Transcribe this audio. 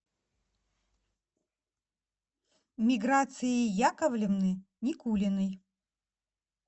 миграции яковлевны никулиной